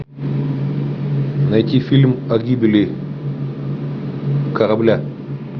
найти фильм о гибели корабля